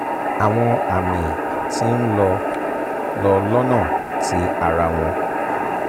awọn ami ti n lọ lọ lọ́nà ti ara wọn